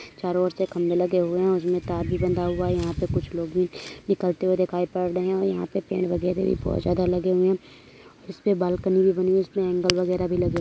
चारों और से खंबे लगे हुए हैं और उसमे तार भी बंधा हुआ है। यहाँ पे कुछ लोग भी निकलते दिखाई पड़ रहे हैं और यहाँ पे पेड़ वगैरह भी बहोत ज्यादा लगे हुए हैं। इस पे बालकनी भी बनी हुई इस पे ऐंगल वगैरह भी लगे हुए --